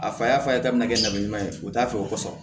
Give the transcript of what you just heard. A fa y'a fa ye k'a bɛna kɛ najama ye u t'a fɛ o kosɔn